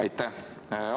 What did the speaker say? Aitäh!